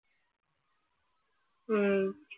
ഉം